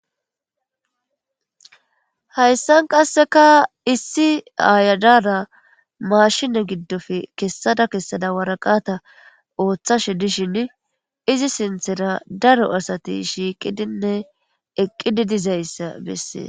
Hayssan qasseka issi aayadara maashine giddofe kessada kessada waraqata ooththashe dishin izi sinthera daro asati shiiqidinne eqqidi dizayssa bessees.